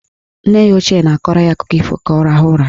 Nna ya ochie na-akọrọ ya akụkọ ifo ka ọ rahụọ ụra.